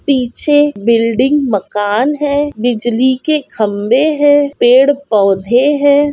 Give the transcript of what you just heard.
पीछे बिल्डिंग मकन है। बिजली के खम्बे है। पेड़ पौधे है।